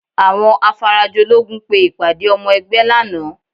Àwọn Afarajológun pe ìpàdé ọmọ ẹgbẹ́ lánàá